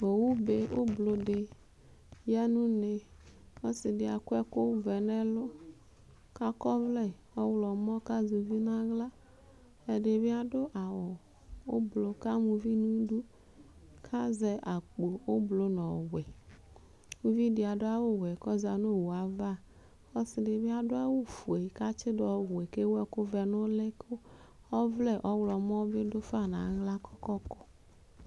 owu be ublɔ di ya no une ɔse di akɔ ɛkò vɛ n'ɛlu k'akɔ ɔvlɛ ɔwlɔmɔ k'azɛ uvi n'ala ɛdi bi ado awu ublɔ k'ama uvi n'idu k'azɛ akpo ublɔ n'ɔwɛ uvi di ado awu wɛ k'ɔza no owue ava ɔse di bi ado awu fue k'atsi do ɔwɛ k'ewu ɛkò vɛ n'uli kò ɔvlɛ ɔwlɔmɔ bi do fa n'ala kò kɔpu